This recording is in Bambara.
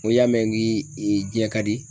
N ko y'a mɛn n k'i jɛ ka di.